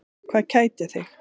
Hvað kætir þig?